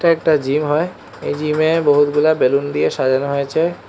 এটা একটা জিম হয় এই জিম এ বহুতগুলা বেলুন দিয়ে সাজানো হয়েছে।